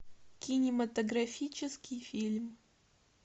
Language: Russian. кинематографический фильм